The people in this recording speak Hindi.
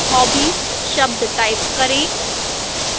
hobbies शब्द type करें